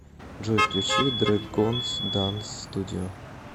джой включи дрэгонз данс студио